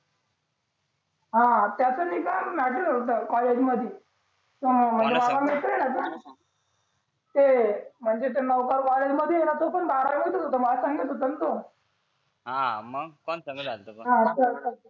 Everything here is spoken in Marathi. हा त्याचं नाही का मॅटर होतं महाविद्यालयामध्ये हा कोणाचा कोणाचा ते म्हणजे नौका बारावीत म्हणजे हा येते पण भरावीलाच होता मला सांगत होता तो हा मग कोणता ई-मेल आला होता पण